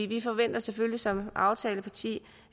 vi forventer selvfølgelig som aftaleparti